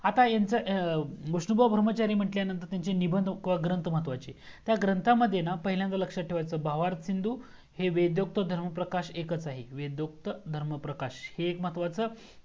आता ह्यांचा विष्णु बुआ धर्माचारी म्हंटल्यानंतर त्यांचे निबंध वा ग्रंथ महत्वाचे त्या ग्रंथामध्ये ना पहिल्यांदा लक्ष्यात ठेवायचा भवार शिंदू हे वेदूक्त धर्म प्रकाश एकाच आहेत वेदूक्त धर्म प्रकाश हे एक महत्वाचा